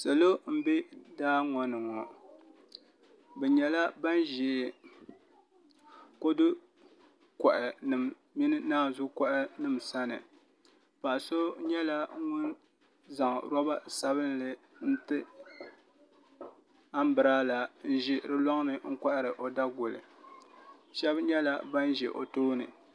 Salo n bɛ daa ŋo ni ŋo bi nyɛla ban ʒɛ kodu koha nim mini naanzu koha nim sani paɣa so nyɛla ŋun zaŋ roba sabinli nti anbirala n ʒi di loŋni n kohari o Daguli shab nyɛla ban ʒɛ o tooni